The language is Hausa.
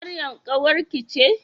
Maryam ƙawarki ce?